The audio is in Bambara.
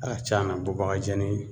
tiɲa na bubagajɛni